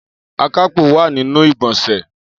Akápò wa ninu igbonse.